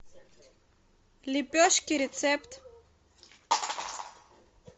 лепешки рецепт